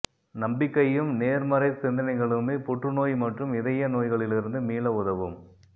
நம்பிக்கையும் நேர்மறை சிந்தனைகளுமே புற்று நோய் மற்றும் இதய நோய்களிலிருந்து மீள உதவும்